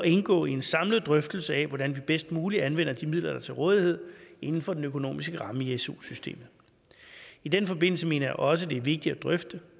indgå i en samlet drøftelse af hvordan vi bedst muligt anvender de midler der er til rådighed inden for den økonomiske ramme i su systemet i den forbindelse mener jeg også det er vigtigt at drøfte